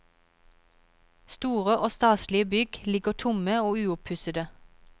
Store og staselige bygg ligger tomme og uoppussede.